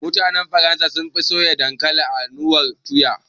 Mutanen Faransa sunfi soya dankalin a na'urar tuya